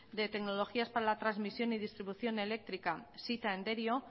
de tecnologías para la transmisión y distribución eléctrica sita en derio